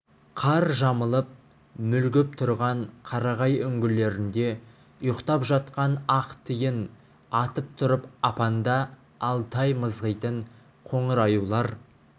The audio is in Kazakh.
қар жамылып мүлгіп тұрған қарағай үңгілерінде ұйықтап жатқан ақ тиін атып тұрып апанда алты ай мызғитын қоңыр аюлар